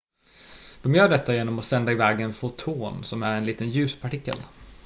de gör detta genom att sända iväg en foton som är en liten ljuspartikel